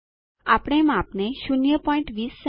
આપણે માપને પણ 020 સે